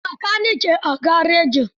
Akwai bakanike a garejin?